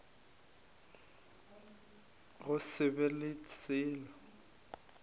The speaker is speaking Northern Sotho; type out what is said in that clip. go se be le selo